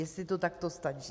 Jestli to takto stačí.